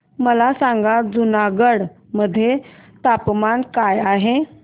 मला सांगा जुनागढ मध्ये तापमान काय आहे